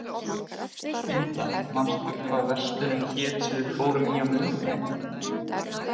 Inda, manstu hvað verslunin hét sem við fórum í á miðvikudaginn?